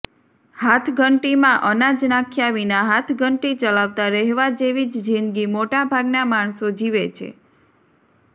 હાથઘંટીમાં અનાજ નાખ્યા વિના હાથઘંટી ચલાવતા રહેવા જેવી જ જિંદગી મોટા ભાગના માણસો જીવે છે